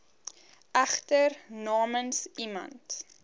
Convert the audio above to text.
egter namens iemand